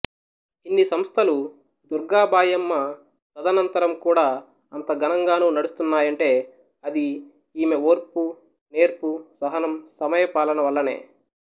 ఇన్ని సంస్థలు దుర్గాబాయమ్మ తదనంతరం కూడా అంత ఘనంగానూ నడుస్తున్నాయంటే అది ఈమె ఓర్పు నేర్పు సహనం సమయపాలనల వల్లనే